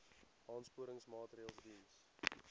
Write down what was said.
aansporingsmaatre ls diens